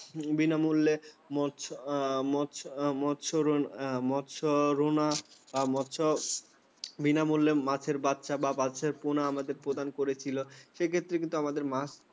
বিনামূল্যে মৎস্য, মৎস্য, মৎস্য, মৎস্য রুনা মৎস্যচাষ বিনামূল্যে মাছের বাচ্চা বা বাচ্চা পোনা আমাদের প্রদান করেছিল। সেক্ষেত্রে কিন্তু আমাদের মাছ চাষে